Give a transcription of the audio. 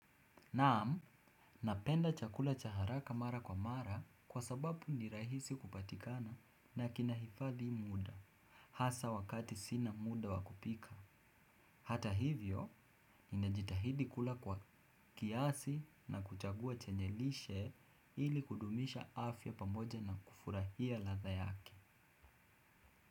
Naam, napenda chakula cha haraka mara kwa mara kwa sababu ni rahisi kupatikana na kinahifadhi muda. Hasa wakati sina muda wa kupika. Hata hivyo, inajitahidi kula kwa kiasi na kuchagua chenye lishe ili kudumisha afya pamoja na kufurahia ladha yake.